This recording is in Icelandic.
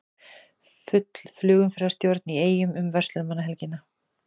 Full flugumferðarstjórn í Eyjum um verslunarmannahelgina